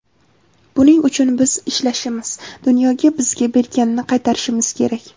Buning uchun biz ishlashimiz, dunyoga bizga berganini qaytarishimiz kerak.